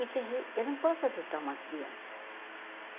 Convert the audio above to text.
eu não posso adotar uma criança.